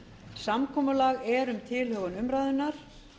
samkomulag er um tilhögun umræðunnar